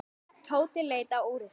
Tóti leit á úrið sitt.